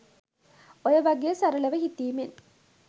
ඔය වගේ සරලව හිතීමෙන්